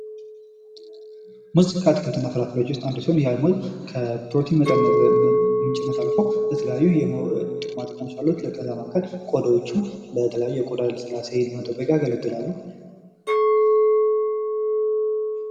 ሙዝ ከአትክልትና ፍራፍሬዎች ውስጥ አንድ ሲሆን ይህም ከፕሮቲን ምንጭነት አልፎ የተለያዩ ጥቅማ ጥቅሞች አሉት። ከዚያም መካከል ቆዳዎቹ የተለያዩ የቆዳን ለስላሴ ለመጠበቅ ያገለግላሉ።